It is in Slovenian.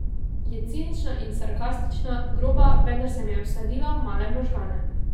Je cinična in sarkastična, groba, vendar se mi je vsadila v male možgane.